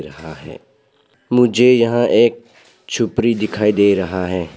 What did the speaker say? रहा है मुझे यहां एक छपरी दिखाई दे रहा है।